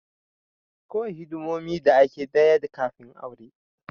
Kawai hidimomi da ake daya kafin aure